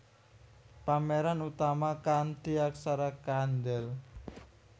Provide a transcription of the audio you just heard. Pameran utama kanthi aksara kandel